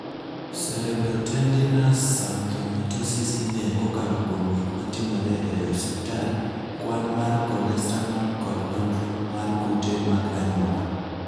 Cerebrotendinous xanthomatosis ing'eyo kokalo kuom gik matimore e osiptal, kwan mar cholestanol, kod nonro mar kute mag anyuola.